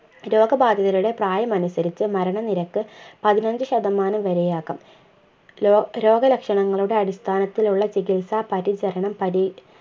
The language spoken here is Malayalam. രോഗ ബാധിതരുടെ പ്രായമനുസരിച്ച് മരണ നിരക്ക് പതിനഞ്ചു ശതമാനം വരെ ആകാം രൊ രോഗ ലക്ഷണങ്ങളുടെ അടിസ്ഥാനത്തിലുള്ള ചികിത്സാ പരിചരണം പരി